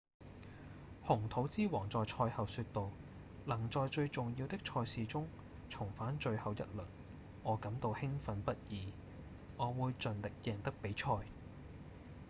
紅土之王在賽後說道：「能在最重要的賽事中重返最後一輪我感到興奮不已我會盡力贏得比賽」